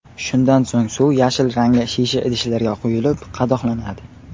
Shundan so‘ng suv yashil rangli shisha idishlarga quyilib qadoqlanadi.